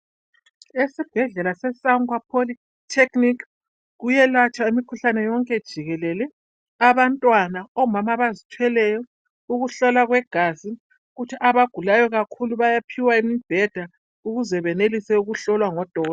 ESibhedlela seSangwa pholitekhinikhi kuyelatshwa imikhuhlane yonke jikelele, abantwana, omama abazithweleyo, ukuhlolwa kwegazi, kuthi abagulayo kakhulu bayaphiwa imibheda ukuze benelise ukuhlolwa ngodo